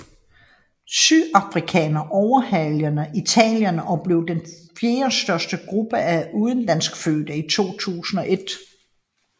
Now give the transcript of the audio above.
Sydafrikanerne overhalede Italienerne og blev den fjerdestørste gruppe af udenlandskfødte i 2001